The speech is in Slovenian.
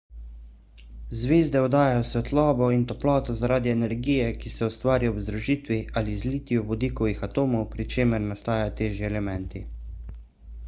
zvezde oddajajo svetlobo in toploto zaradi energije ki se ustvari ob združitvi ali zlitju vodikovih atomov pri čemer nastajajo težji elementi